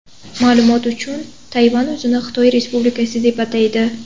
Ma’lumot uchun, Tayvan o‘zini Xitoy Respublikasi deb ataydi.